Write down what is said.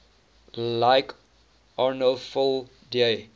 like arnolfo di